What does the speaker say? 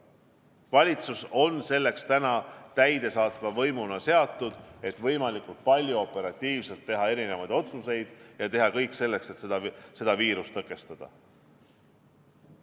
Valitsus täidesaatva võimuna on seatud selleks, et teha võimalikult operatiivseid otsuseid ja teha kõik selleks, et seda viirust tõkestada.